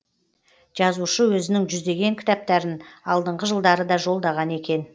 жазушы өзінің жүздеген кітаптарын алдыңғы жылдары да жолдаған екен